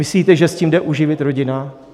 Myslíte, že s tím jde uživit rodina?